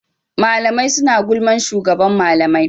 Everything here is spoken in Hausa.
Mlamai suna gulman shugaban malamai.